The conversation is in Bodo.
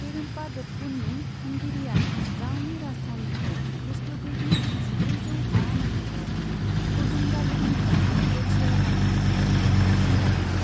पेरूम्पादप्पुनि खुंगिरिआ गावनि राजथावनिखौ खृष्टगिबि जिब्रैजौ बा मायथाइयाव कडुंगाल्लुरनिफ्राय क'च्चिआव लांनो थाखाय नारसिनजादोंमोन।